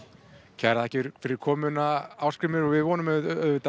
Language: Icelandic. kærar þakkir fyrir komuna Ásgrímur og við vonum auðvitað